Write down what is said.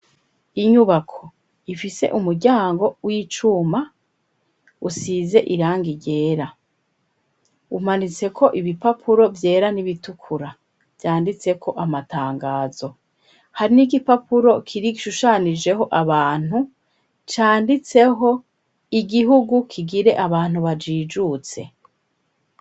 Inyubako ifise umuryango w'icuma usize irangi ryera, umanitse ko ibipapuro vyera n'ibitukura vyanditseko amatangazo, hari n'ikipapuro kiri kishushanijeho abantu canditseho igihugu kigire abantu bajijutse.